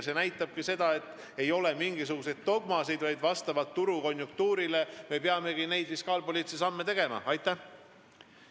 See näitab seda, et mingisuguseid dogmasid ei ole – me peamegi fiskaalpoliitilisi samme tegema vastavalt turukonjunktuurile.